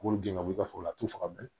K'olu gɛn ka b'u ka foro la t'u faga